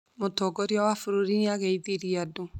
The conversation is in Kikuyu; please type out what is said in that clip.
Mũtongoria wa bũrũri nĩ ageithirie andũ